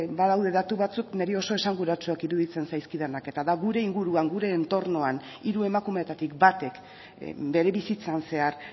badaude datu batzuk niri oso esanguratsuak iruditzen zaizkidanak eta da gure inguruan gure entornoan hiru emakumeetatik batek bere bizitzan zehar